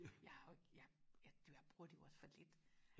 jeg har jo jeg bruger det jo også for lidt